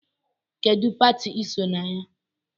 Kedụ pati iso na ya?